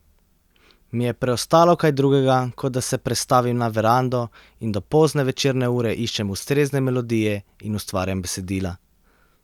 Mi je preostalo kaj drugega, kot da se prestavim na verando in do pozne večerne ure iščem ustrezne melodije in ustvarjam besedila?